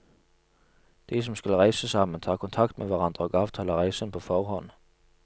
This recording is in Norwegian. De som skal reise sammen, tar kontakt med hverandre og avtaler reisen på forhånd.